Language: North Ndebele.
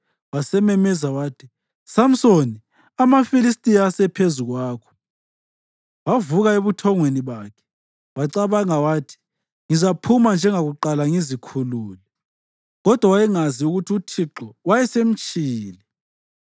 Wasememeza wathi, “Samsoni, amaFilistiya asephezu kwakho! ” Wavuka ebuthongweni bakhe wacabanga wathi, “Ngizaphuma njengakuqala ngizikhulule.” Kodwa wayengazi ukuthi uThixo wayesemtshiyile.